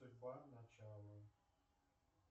в начало